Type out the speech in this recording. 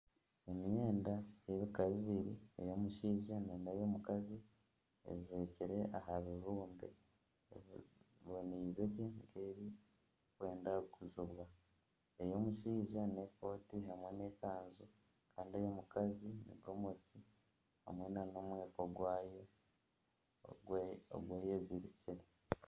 Emyenda ey'ebika bibiri ey'omushaija nana ey'omukazi ejwekire aha bibumbe biboneize gye nk'ebirikwenda kuguzibwa. Ey'omushaija n'ekooti hamwe n'ekanju kandi eya omukazi ni gomesi hamwe nana omweko gwayo ogu eyezirikire.